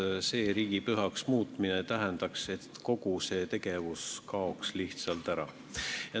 Selle päeva riigipühaks muutmine tähendaks, et kogu see tegevus kaoks lihtsalt ära.